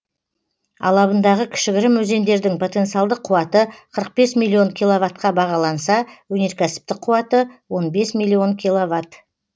алабындағы кішігірім өзендердің потенциалдық қуаты қырық бес миллион киловаттқа бағаланса өнеркәсіптік қуаты он бес миллион киловатт